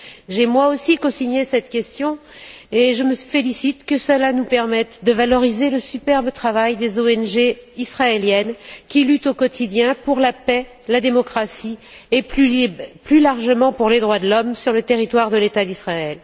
J'ai moi aussi cosigné cette question et je me félicite que cela nous permette de valoriser le superbe travail des ONG israéliennes, qui luttent au quotidien pour la paix, la démocratie et, plus largement, pour les droits de l'homme sur le territoire de l'État d'Israël.